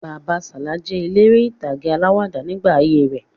Bàbá Sala jẹ eléré ìtàgé alawada nígbà ayé rẹ̀